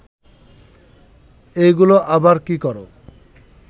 এইগুলা আবার কি কর